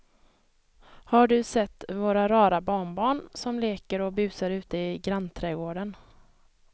Har du sett våra rara barnbarn som leker och busar ute i grannträdgården!